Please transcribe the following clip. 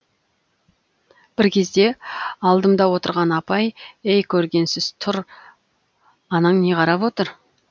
бір кезде алдымда отырған апай ей көргенсіз тұр анаң не қарап отыр